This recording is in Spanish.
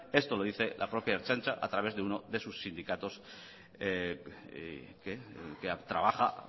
esto lo dice la propia ertzaintza a través de uno de sus sindicatos que trabaja a